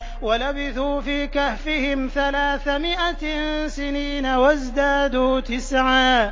وَلَبِثُوا فِي كَهْفِهِمْ ثَلَاثَ مِائَةٍ سِنِينَ وَازْدَادُوا تِسْعًا